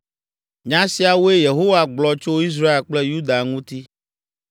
Nya siawoe Yehowa gblɔ tso Israel kple Yuda ŋuti.